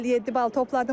57 bal topladım.